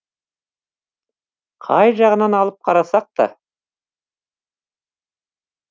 қай жағынан алып қарасақта